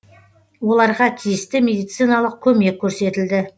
оларға тиісті медициналық көмек көрсетілді